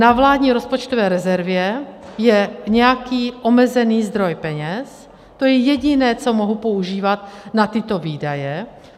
Na vládní rozpočtové rezervě je nějaký omezený zdroj peněz, to je jediné, co mohu používat na tyto výdaje.